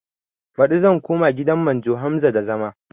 Baɗi zan koma gidan manjo Hamza da zama